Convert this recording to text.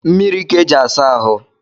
Mmiri ka e ji asa ahụ